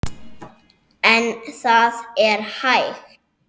En það er hægt.